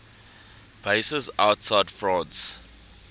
bases outside france